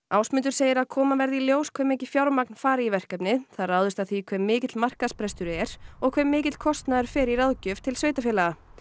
Ásmundur segir að koma verði í ljós hve mikið fjármagn fari í verkefnið það ráðist af því hve mikill markaðsbresturinn er og hve mikill kostnaður fer í ráðgjöf til sveitarfélaga